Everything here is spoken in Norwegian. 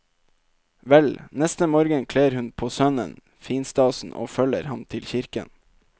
Vel, neste morgen kler hun på sønnen finstasen og følger ham til kirken.